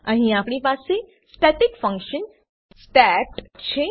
અહીં આપણી પાસે સ્ટેટિક ફંકશન સ્ટેટ છે